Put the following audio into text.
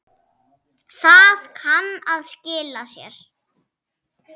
Það kann að skila sér.